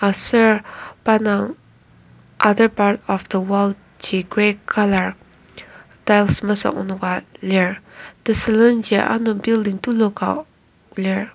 aser pa indang other part of the wall ji grey colour tiles mesuk menoka lir tesülenji ano building tuluka lir.